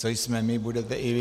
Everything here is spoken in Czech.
Co jsme my, budete i vy."